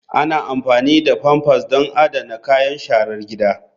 Ana amfani da pampers don adana kayan sharar gida.